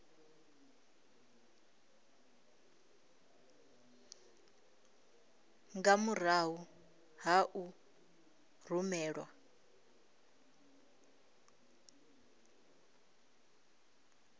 nga murahu ha u rumelwa